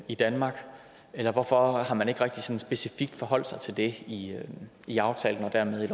i danmark eller hvorfor har man ikke rigtig specifikt forholdt sig til det i i aftalen og dermed